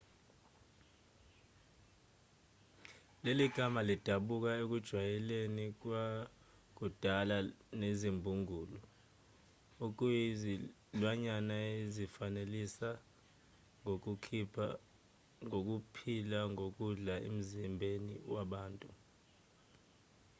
leli gama lidabuka ekujwayelaneni kwakudala nezimbungulu okuyizilwanyana ezizifanelisela ngokuphila ngokudla emzimbeni wabantu